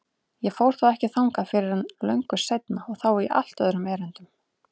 Ég fór þó ekki þangað fyrr en löngu seinna og þá í allt öðrum erindum.